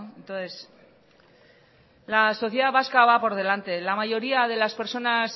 entonces la sociedad vasca va por delante la mayoría de las personas